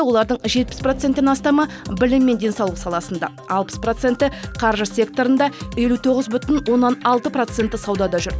олардың жетпіс проценттен астамы білім мен денсаулық саласында алпыс проценті қаржы секторында елу тоғыз бүтін оннан алты проценті саудада жүр